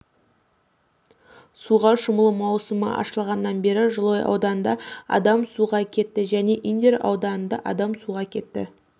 суға шомылу маусымы ашылғаннан бері жылой ауданында адам суға кетті және индер ауданында адам суға кетті